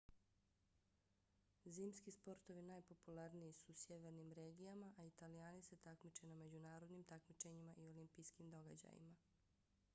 zimski sportovi najpopularniji su u sjevernim regijama a italijani se takmiče na međunarodnim takmičenjima i olimpijskim događajima